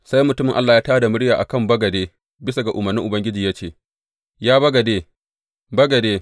Sai mutumin Allah ya tā da murya a kan bagade bisa ga umarnin Ubangiji ya ce, Ya bagade, bagade!